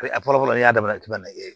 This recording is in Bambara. a fɔlɔ fɔlɔ n'i y'a daminɛ k'i bɛna